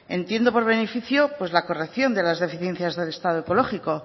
entiendo por beneficio pues la corrección de las deficiencias del estado ecológico